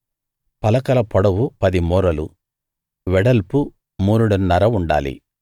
పలక పొడవు పది మూరలు వెడల్పు మూరెడున్నర ఉండాలి